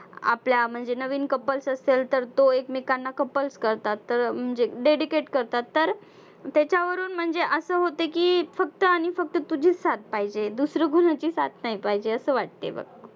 आपल्या म्हणजे नवीन couples असेल तर तो एकमेकांना couples करतात. तर म्हणजे dedicate करतात तर त्याच्यावरून म्हणजे असं होतं की फक्त आणि फक्त तुझीच साथ पाहिजे दूसरं कुणाची साथ नाही पाहिजे असं वाटतंय बघ.